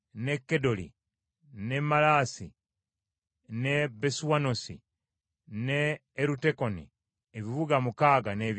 n’e Maalasi, n’e Besuanosi, n’e Erutekoni, ebibuga mukaaga n’ebyalo byabyo.